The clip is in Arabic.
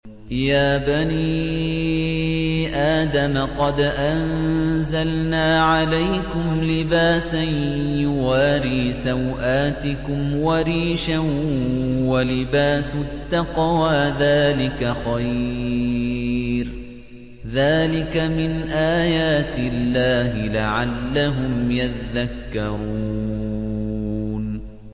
يَا بَنِي آدَمَ قَدْ أَنزَلْنَا عَلَيْكُمْ لِبَاسًا يُوَارِي سَوْآتِكُمْ وَرِيشًا ۖ وَلِبَاسُ التَّقْوَىٰ ذَٰلِكَ خَيْرٌ ۚ ذَٰلِكَ مِنْ آيَاتِ اللَّهِ لَعَلَّهُمْ يَذَّكَّرُونَ